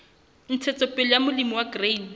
ntshetsopele ya molemi wa grain